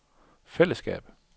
fællesskab